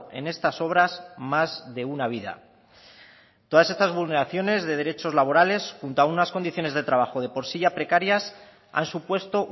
en estas obras más de una vida todas estas vulneraciones de derechos laborales junto a unas condiciones de trabajo de por sí ya precarias han supuesto